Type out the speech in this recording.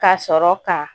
Ka sɔrɔ ka